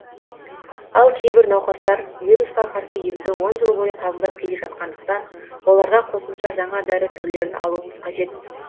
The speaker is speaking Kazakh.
ал кейбір науқастар вирусқа қарсы емді он жыл бойы қабылдап келе жатқандықтан оларға қосымша жаңа дәрі түрлерін алуымыз қажет